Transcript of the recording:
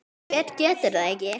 Hver getur það ekki?